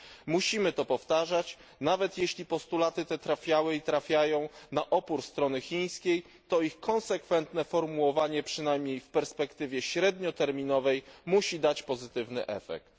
Musimy to powtarzać nawet jeśli postulaty te trafiały i trafiają na opór strony chińskiej, to ich konsekwentne formułowanie, przynajmniej w perspektywie średnioterminowej, musi dać pozytywny efekt.